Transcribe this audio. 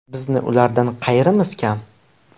Bizni ulardan qayerimiz kam?